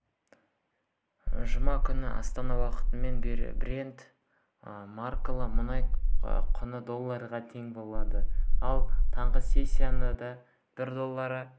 жұма күні астана уақытымен брент маркалы мұнай құны долларға тең болды ал таңғы сессиясында бір доллары